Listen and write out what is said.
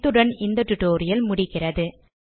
இத்துடன் இந்த டுடோரியல் முடிவடைகிறது